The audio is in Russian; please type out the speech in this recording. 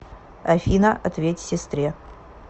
афина ответь сестре